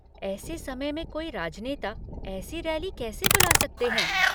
ऐसे समय में कोई राजनेता ऐसी रैली कैसे बुला सकते हैं?